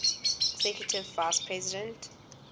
executive vice president